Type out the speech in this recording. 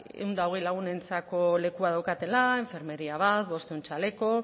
ehun eta hogei lagunentzako lekua daukatela enfermeria bat bostehun txaleko